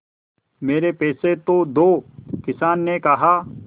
मेरे पैसे तो दो किसान ने कहा